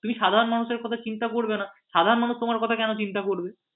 তুমি সাধারণ মানুষের কথা চিন্তা করবে না সাধারণ মানুষ তোমার কথা কেন চিন্তা করবে?